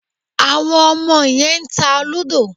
Àwọn ọmọ yẹn ń ta lúdọ̀.